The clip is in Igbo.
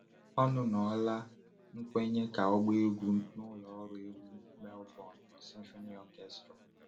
Ọnụnọla nkwenye ka ọ gbaa egwu n’ụlọ ọrụ egwu Melbourne Symphony Orchestra.